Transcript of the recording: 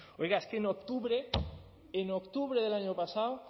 oiga es que en octubre en octubre del año pasado